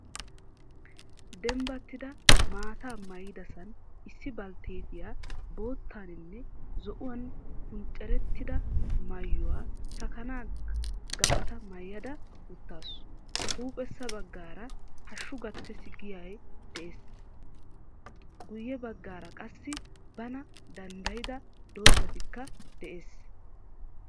Dembbattidi maataa maayidasan issi baaltettiya boottaninne zo^uwan punccarettida maayuwaa saakana ggaatta maayada uttaasu. Huuphphesa bagaara hashshu gattes giya de^ees. Guyeebagaara qaasi bana dandayida dozayikka de^ees